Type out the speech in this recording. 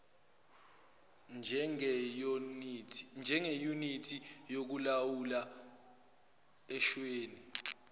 njengeyunithi yokulawula eswini